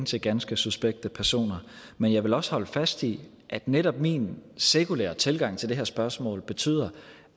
til ganske suspekte personer men jeg vil også holde fast i at netop min sekulære tilgang til det her spørgsmål betyder